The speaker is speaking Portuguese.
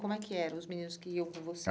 Como é que eram os meninos que iam com você?